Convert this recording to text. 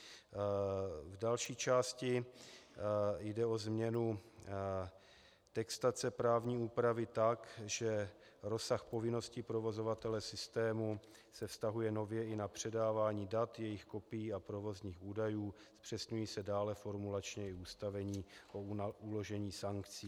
V další části jde o změnu textace právní úpravy tak, že rozsah povinností provozovatele systému se vztahuje nově i na předávání dat, jejich kopií a provozních údajů, zpřesňují se dále formulačně i ustanovení o uložení sankcí.